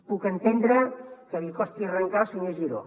puc entendre que li costi arrencar al senyor giró